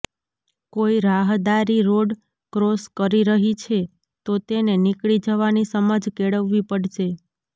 કોઈ રાહદારી road cross કરી રહી છે તો તેને નીકળી જવાની સમજ કેળવવી પડશે